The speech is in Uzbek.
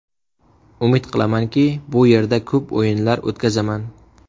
Umid qilamanki, bu yerda ko‘p o‘yinlar o‘tkazaman.